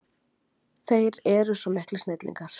Þeir eru svo miklir snillingar.